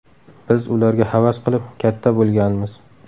Biz ularga havas qilib, katta bo‘lganmiz.